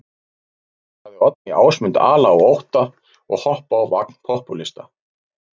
Sagði Oddný Ásmund ala á ótta og hoppa á vagn popúlista.